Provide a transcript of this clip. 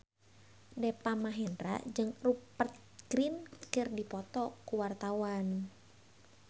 Deva Mahendra jeung Rupert Grin keur dipoto ku wartawan